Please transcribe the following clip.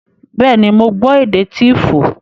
Bẹ́ẹ̀ ni, mo gbọ́ èdè Tíífù